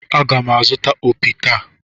Aga m azụta opi taa.